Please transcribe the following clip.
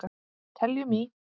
Teljum í!